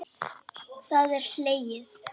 Það er hlegið.